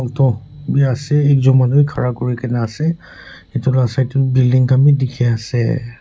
toh be ase ekjon manu khara kuri ki na ase etu lah side teh building khan be dikhi ase.